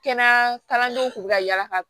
Kɛnɛya kalandenw kun bɛ ka yala ka